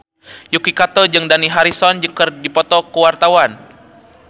Yuki Kato jeung Dani Harrison keur dipoto ku wartawan